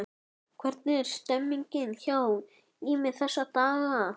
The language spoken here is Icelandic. Hvernig er stemmningin hjá Ými þessa dagana?